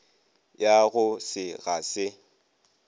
ya go se ga se